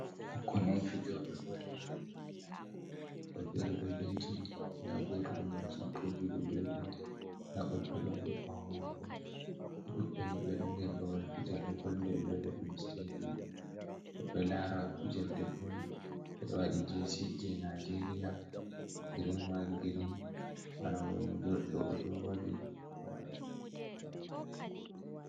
Ɓikkon on fijoɓe ball. Ɓedo jodi lara. Ɓikkon fere do benci, nda goto numba sappoi ju'i ɗo jodi. Nda woɓɓe fere ɗo ɓawo mako. Ɓe duɓɓe ni ɓe ɗo nder babal fijerdi ball nde ɓe viya dum stadium. Ɓedo lara fijirde ball, ɓe ɓorni jersey je najeria green white green. Bana odo mo jodi do odo wadi. Ɓe pat maɓɓe ɓe ɗo